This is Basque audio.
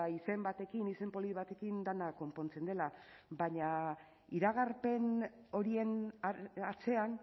izen batekin izen polit batekin dena konpontzen dela baina iragarpen horien atzean